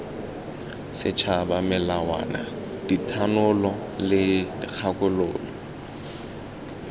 setšhaba melawana dithanolo le dikgakololo